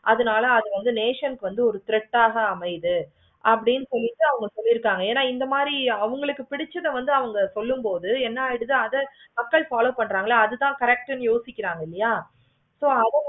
அதுனால அது வந்து nation வந்து ஒரு thread ஆகா அமையுது. அப்படின்னு சொல்லிட்டு அவுங்க சொல்லிருக்காங்க. இந்த மாதிரி அவுங்களுக்கு பிடிச்சதை வந்து அவங்க சொல்லு போது என்னென்ன அத அப்படியே follow பண்றங்களா அது தான் correct இன்னு யோசிக்கிறாங்களா. so அத